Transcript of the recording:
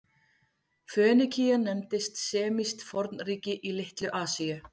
Fönikía nefndist semískt fornríki í Litlu-Asíu.